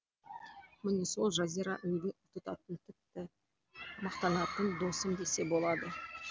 міне сол жазира үлгі тұтатын тіпті мақтанатын досым десе болады